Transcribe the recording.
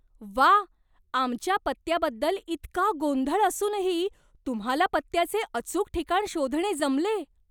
व्वा! आमच्या पत्त्याबद्दल इतका गोंधळ असूनही तुम्हाला पत्त्याचे अचूक ठिकाण शोधणे जमले.